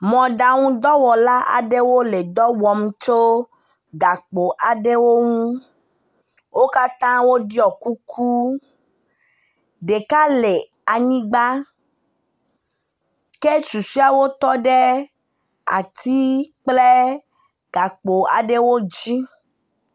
Mɔɖaŋudɔwɔla aɖewo le dɔ wɔm tso gakpo aɖe ŋu. Wo katã woɖɔ kuku. Ɖeka le anyigba ke susɔeawo tɔ ɖe ati kple gakpo aɖewo dzi.